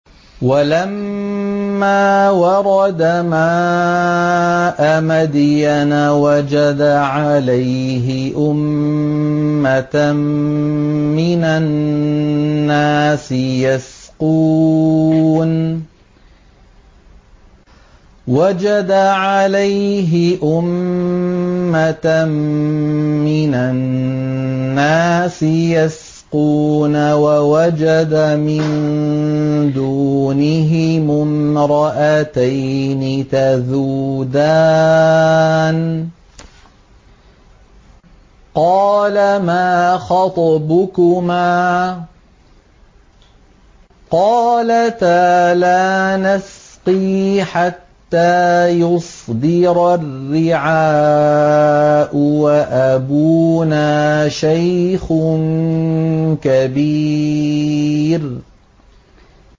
وَلَمَّا وَرَدَ مَاءَ مَدْيَنَ وَجَدَ عَلَيْهِ أُمَّةً مِّنَ النَّاسِ يَسْقُونَ وَوَجَدَ مِن دُونِهِمُ امْرَأَتَيْنِ تَذُودَانِ ۖ قَالَ مَا خَطْبُكُمَا ۖ قَالَتَا لَا نَسْقِي حَتَّىٰ يُصْدِرَ الرِّعَاءُ ۖ وَأَبُونَا شَيْخٌ كَبِيرٌ